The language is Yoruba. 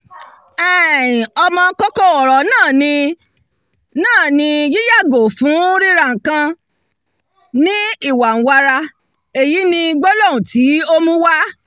um ọmọ-kókó ọ̀rọ̀ náà ni náà ni "yíyàgò fún ríra-nǹkan ní ìwàǹwara" èyí ni gbólóhùn tí ó mú wá: